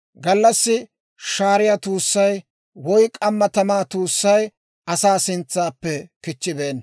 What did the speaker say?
Gallassi shaariyaa tuussay woy k'amma tamaa tuussay asaa sintsaappe kichchibeenna.